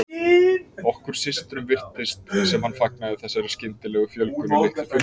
Okkur systrum virtist sem hann fagnaði þessari skyndilegu fjölgun í litlu fjölskyldunni.